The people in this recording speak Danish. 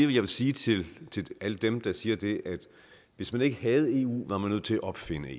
vil sige til alle dem der siger det at hvis man ikke havde eu var man nødt til at opfinde